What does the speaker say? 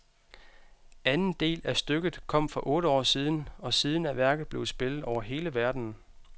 Anden del af stykket kom for otte år siden , og siden er værket blevet spillet over hele verden.